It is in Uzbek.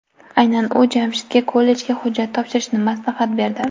Aynan ular Jamshidga kollejga hujjat topshirishni maslahat berdi.